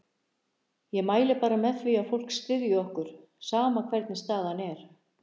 Ég mæli bara með því að fólk styðji okkur, sama hvernig staðan er.